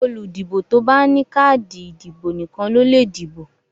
Olùdìbò tó bá ní káàdì ìdìbò nìkan ló lè dìbò.